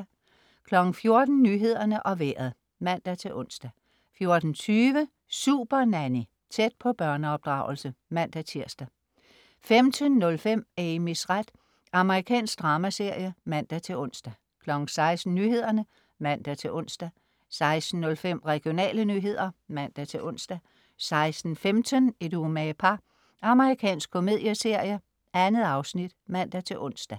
14.00 Nyhederne og Vejret (man-ons) 14.20 Supernanny. Tæt på børneopdragelse (man-tirs) 15.05 Amys ret. Amerikansk dramaserie (man-ons) 16.00 Nyhederne (man-ons) 16.05 Regionale nyheder (man-ons) 16.15 Et umage par. Amerikansk komedieserie. 2 afsnit. (man-ons)